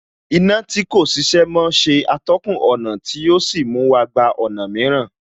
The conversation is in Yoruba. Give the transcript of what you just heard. Iná tí kò ṣiṣẹ́ mọ́ ṣe atọ́kùn ọ̀nà tí ò sí mú wa gba ọ̀nà mìíràn